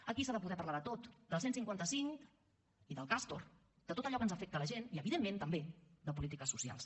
aquí s’ha de poder parlar de tot del cent i cinquanta cinc i del castor de tot allò que ens afecta a la gent i evidentment també de polítiques socials